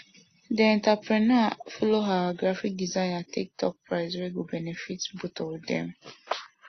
the entrepreneur follow her graphic designer take talk price wey go benefit both of them